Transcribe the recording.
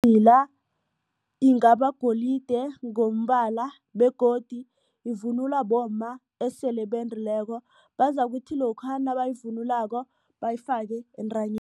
Idzila ingabagolide ngombala begodu ivunulwa bomma esele bendileko bazakuthi lokha nabayvunulako bayifake